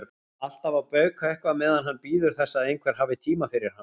Alltaf að bauka eitthvað meðan hann bíður þess að einhver hafi tíma fyrir hann.